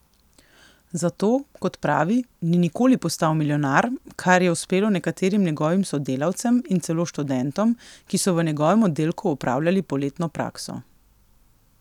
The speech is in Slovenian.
Zato, kot pravi, ni nikoli postal milijonar, kar je uspelo nekaterim njegovim sodelavcem in celo študentom, ki so v njegovem oddelku opravljali poletno prakso.